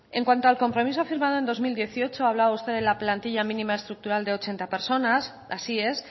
en cuanto al compromiso firmado en dos mil dieciocho ha hablado usted de la plantilla mínima estructural de ochenta personas así es